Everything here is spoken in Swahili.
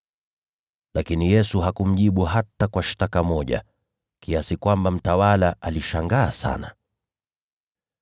Lakini Yesu hakumjibu hata kwa shtaka moja, kiasi kwamba mtawala alishangaa sana.